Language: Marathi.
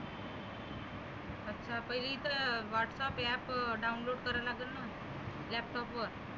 अच्छा पहिले इथं whatsapp App download करावा लागेल नंं. laptop वर.